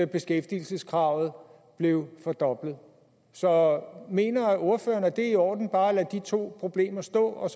beskæftigelseskravet blev fordoblet så mener ordføreren det er i orden bare at lade de to problemer stå og at